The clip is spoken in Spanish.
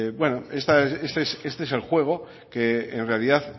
este es el juego que en realidad